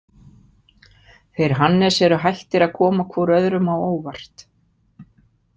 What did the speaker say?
Þeir Hannes eru hættir að koma hvor öðrum á óvart.